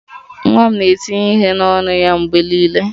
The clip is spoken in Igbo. Nwa m na-etinye ihe n'ọnụ ya mgbe niile